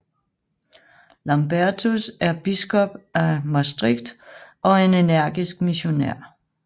Lambertus er biskop af Maastricht og en energisk missionær